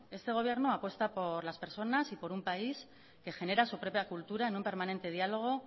este gobierno apuesta por las personas y por un país que genera su propia cultura en un permanente diálogo